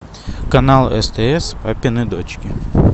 канал стс папины дочки